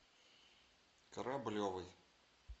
кораблевой